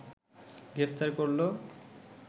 গ্রেফতার করল